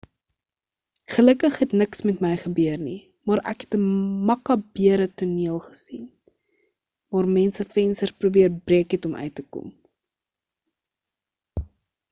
gelukkig het niks met my gebeur nie maar ek het 'n makabere toneel gesien waar mense vensters probeer breek het om uit te kom